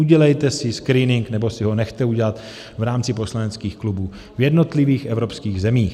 Udělejte si screening nebo si ho nechte udělat v rámci poslaneckých klubů v jednotlivých evropských zemích.